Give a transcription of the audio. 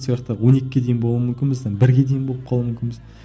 он екіге дейін болуым мүмкін біздің бірге дейін болып қалу мүмкінбіз